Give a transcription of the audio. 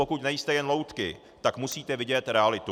Pokud nejste jen loutky, tak musíte vidět realitu.